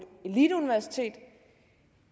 eliteuniversitet